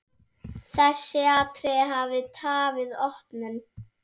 Þessi atriði hafi tafið opnun.